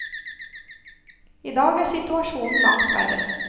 I dag er situasjonen langt verre.